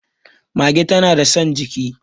mage tana da San jiki